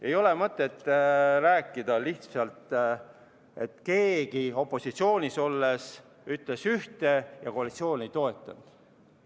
Ei ole mõtet rääkida, et keegi opositsioonis olles ütles ühte ja koalitsioon ei toetanud.